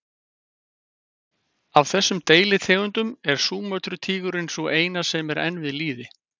Af þessum deilitegundum er Súmötru-tígurinn sú eina sem er enn við lýði.